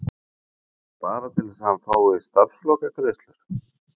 Er það bara til að hann fái starfslokagreiðslur?